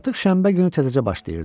Artıq şənbə günü təzəcə başlayırdı.